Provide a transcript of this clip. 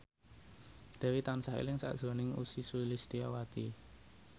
Dewi tansah eling sakjroning Ussy Sulistyawati